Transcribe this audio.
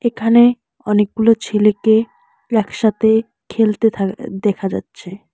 এখানে অনেকগুলো ছেলেকে একসাথে খেলতে থা দেখা যাচ্ছে।